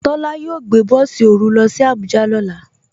Tola yóò gbẹ̀ bọ̀sì orú ló sì Àbújà lọ́lá.